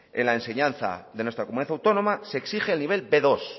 en la enseñanza de nuestra comunidad autónoma se exige el nivel be dos